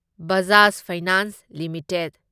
Bajaj Finance limited